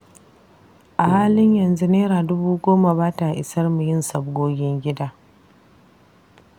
A halin yanzu Naira dubu goma ba ta isarmu yin sabgogin gida.